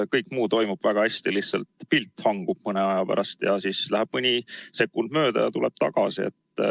Kõik muu toimib väga hästi, lihtsalt pilt hangub mõnikord ja siis läheb mõni sekund, ja see tuleb tagasi.